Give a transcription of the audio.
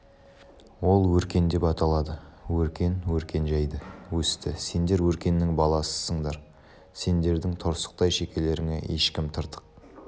ол өркен деп аталады өркен өркен жайды өсті сендер өркеннің баласысындар сендердің торсықтай шекелеріңе ешкім тыртық